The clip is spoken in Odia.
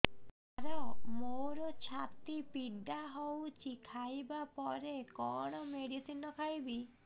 ସାର ମୋର ଛାତି ପୀଡା ହଉଚି ଖାଇବା ପରେ କଣ ମେଡିସିନ ଖାଇବି